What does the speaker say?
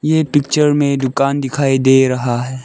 ये पिक्चर में दुकान दिखाई दे रहा है।